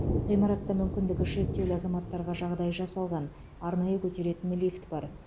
ғимаратта мүмкіндігі шектеулі азаматтарға жағдай жасалған арнайы көтеретін лифт бар